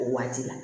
O waati la